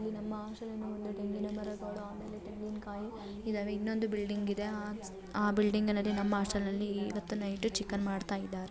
ಇದು ನಮ್ಮ ಹಾಸ್ಟೆಲಿನ ಮುಂದೆ ತೆಂಗಿನ ಮರಗಳು ಆಮೇಲೆ ತೆಂಗಿನ ಕಾಯಿ ಇದಾವೆ ಇನ್ನೊಂದು ಬಿಲ್ಡಿಂಗ್ ಇದೆ ಅ ಅ ಬಿಲ್ಡಿಂಗ್ನಲ್ಲಿ ನಮ್ಮ ಹಾಸ್ಟೆಲ್ನಲ್ಲಿ ಇವತ್ತು ನೈಟು ಚಿಕನ್ ಮಾಡ್ತಾ ಇದಾರೆ.